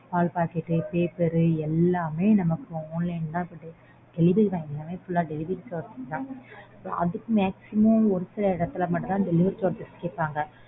பால் packet paper எல்லாமே நமக்கு online தான். Delivery boy மூலமா delivery charge இல்லாம. அதுவும் maximum ஒரு சில இடத்துல மட்டும் தான் delivery charge கேக்கறாங்க.